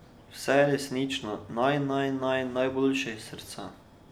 Vse resnično naj, naj, naj, najboljše, iz srca.